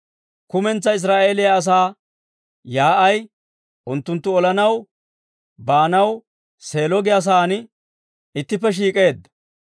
Kumentsaa Israa'eeliyaa asaa yaa'ay unttunttu olanaw baanaw Seelo giyaa saan ittippe shiik'eedda.